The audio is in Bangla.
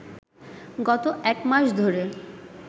গত একমাস ধরে